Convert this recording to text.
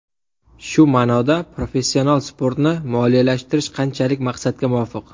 Shu ma’noda professional sportni moliyalashtirish qanchalik maqsadga muvofiq?